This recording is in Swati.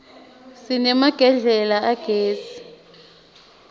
sinemagedlela agezi